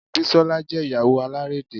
Bisola jẹ́ Ìyàwó alárédè